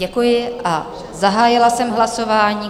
Děkuji a zahájila jsem hlasování.